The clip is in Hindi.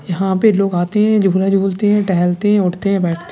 यहाँ पे लोग आते हैं झूला झूलते हैं टेहैलते हैं उठते है बैठ --